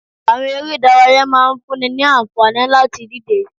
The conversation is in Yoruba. Àwọn eré ìdárayá máa ń fún ni ní àǹfààní láti díje